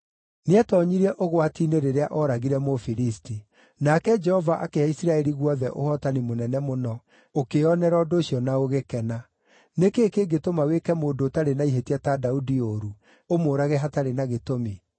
Nĩetoonyirie ũgwati-inĩ rĩrĩa ooragire Mũfilisti. Nake Jehova akĩhe Isiraeli guothe ũhootani mũnene mũno, ũkĩĩonera ũndũ ũcio na ũgĩkena. Nĩ kĩĩ kĩngĩtũma wĩke mũndũ ũtarĩ na ihĩtia ta Daudi ũũru, ũmũũrage hatarĩ na gĩtũmi?”